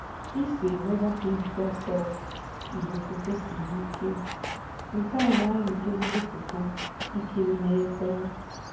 Ise-megapixel selfie igwefoto siri ike, nke na-amị ezigbo photos ikiri na ekwentị.